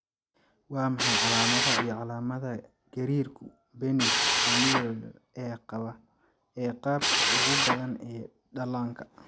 Waa maxay calaamadaha iyo calaamadaha gariirku benign familial ee qaabka ugu badan ee dhallaanka?